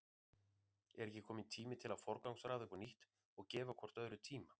Er ekki kominn tími til að forgangsraða upp á nýtt og gefa hvort öðru tíma?